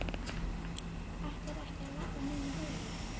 Ætlarðu ekki að labba með mér heim?